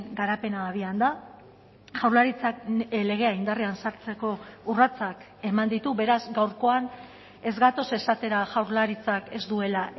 garapena abian da jaurlaritzak legea indarrean sartzeko urratsak eman ditu beraz gaurkoan ez gatoz esatera jaurlaritzak ez duela